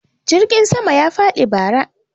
jirgin sama ya faɗi bara